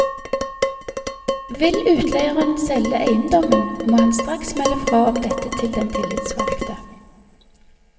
Vil utleieren selge eiendommen, må han straks melde fra om dette til den tillitsvalgte.